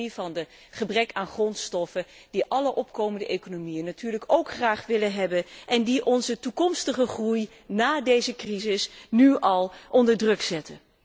Het gaat over het gebrek aan grondstoffen, die alle opkomende economieën natuurlijk ook graag willen hebben en die onze toekomstige groei ná deze crisis nu al onder druk zet.